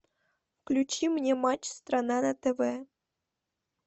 включи мне матч страна на тв